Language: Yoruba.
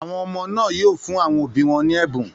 Àwọn ọmọ náà yóò fún àwọn òbí wọn ní ẹ̀bùn.